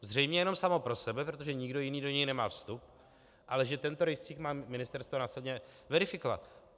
Zřejmě jenom samo pro sebe, protože nikdo jiný do něj nemá vstup, ale že tento rejstřík má ministerstvo následně verifikovat.